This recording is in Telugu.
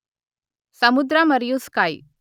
సముద్ర మరియు స్కై